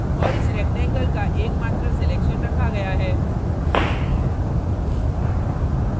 और इस rectangle का एकमात्र selection रखा गया है